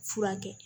Furakɛ